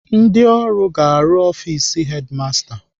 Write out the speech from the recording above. Ndị ọrụ ga-arụzi ọfis hedimasta